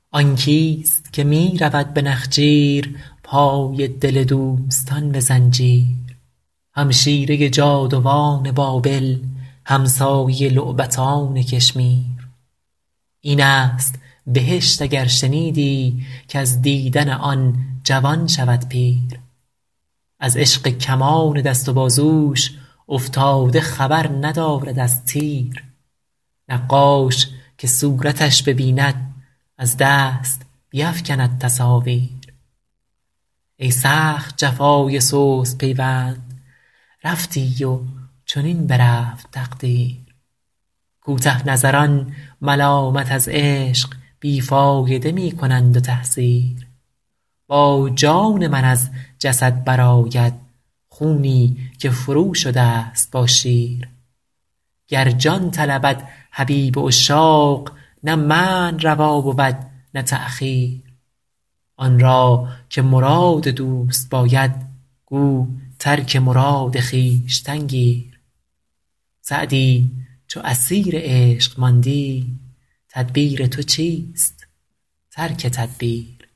آن کیست که می رود به نخجیر پای دل دوستان به زنجیر همشیره جادوان بابل همسایه لعبتان کشمیر این است بهشت اگر شنیدی کز دیدن آن جوان شود پیر از عشق کمان دست و بازوش افتاده خبر ندارد از تیر نقاش که صورتش ببیند از دست بیفکند تصاویر ای سخت جفای سست پیوند رفتی و چنین برفت تقدیر کوته نظران ملامت از عشق بی فایده می کنند و تحذیر با جان من از جسد برآید خونی که فروشده ست با شیر گر جان طلبد حبیب عشاق نه منع روا بود نه تأخیر آن را که مراد دوست باید گو ترک مراد خویشتن گیر سعدی چو اسیر عشق ماندی تدبیر تو چیست ترک تدبیر